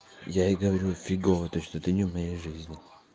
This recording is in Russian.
я и говорю фигово то что ты не в моей жизни